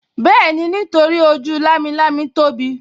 Bẹ́ẹ̀ni, nítorí ojú lámilámi tóbi